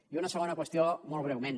i una segona qüestió molt breument